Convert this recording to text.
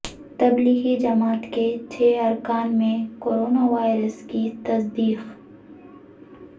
تبلیغی جماعت کے چھ ارکان میں کرونا وائرس کی تصدیق